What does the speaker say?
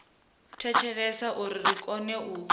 thetshelesa uri ri kone u